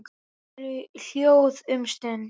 Þau eru hljóð um stund.